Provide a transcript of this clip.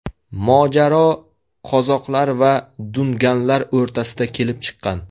Mojaro qozoqlar va dunganlar o‘rtasida kelib chiqqan.